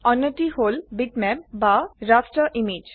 অন্যটি হল বিটম্যাপ বা ৰাস্টাৰ ইমেজ